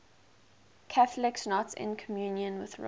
catholics not in communion with rome